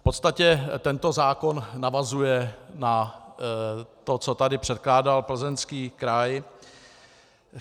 V podstatě tento zákon navazuje na to, co tady předkládal Plzeňský kraj.